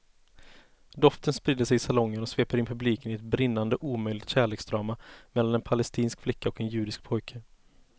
Doften sprider sig i salongen och sveper in publiken i ett brinnande omöjligt kärleksdrama mellan en palestinsk flicka och en judisk pojke.